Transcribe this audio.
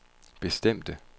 bestemte